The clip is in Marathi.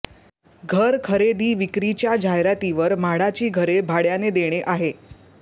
घर खरेदी विक्रीच्या जाहिरातीवर म्हाडाची घरे भाडय़ाने देणे आहे